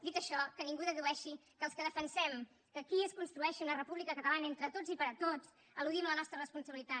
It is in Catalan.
dit això que ningú dedueixi que els que defensem que aquí es construeixi una república catalana entre tots i per a tots eludim la nostra responsabilitat